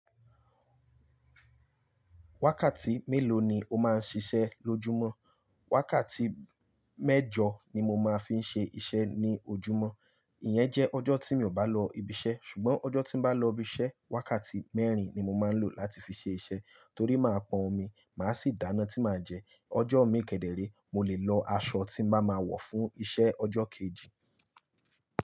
Wákàtí mélòó ni o máa ń ṣiṣẹ́ lójúmọ́? Wákàtí mẹ́jọ ni mo máa ń fi ṣe iṣẹ́ ní ojúmọ́, ìyẹn jẹ́ ọjọ́ tí mi ò bá lọ ibiṣẹ́. Ṣùgbọ́n ọjọ́ tí n bá lọ ibiṣẹ́, wákàtí mẹ́rin ni mo máa ń lò láti fi ṣe iṣẹ́ torí máa pọn omi máa sì dáná tí màá jẹ. Ọjọ́ mi kẹ́déré, mo lè lọ aṣọ tí màá ma wọ̀ fún iṣẹ́ ọjọ́ kejì.